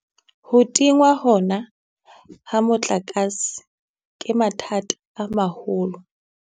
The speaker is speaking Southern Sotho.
Ho tingwa hona ha motlakase, ke mathata a maholo.